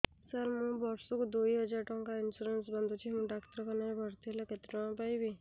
ସାର ମୁ ବର୍ଷ କୁ ଦୁଇ ହଜାର ଟଙ୍କା ଇନ୍ସୁରେନ୍ସ ବାନ୍ଧୁଛି ମୁ ଡାକ୍ତରଖାନା ରେ ଭର୍ତ୍ତିହେଲେ କେତେଟଙ୍କା ପାଇବି